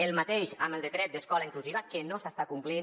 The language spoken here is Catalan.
el mateix amb el decret d’escola inclusiva que no s’està complint